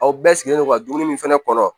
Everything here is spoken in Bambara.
Aw bɛɛ sigilen don ka dumuni min fɛnɛ kɔnɔ